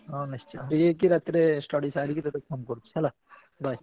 ହଁ ନିଶ୍ଚିନ୍ତ free ହେଇକି ରାତିରେ study ସାରିକି ତତେ phone କରୁଚି ହେଲା। bye ।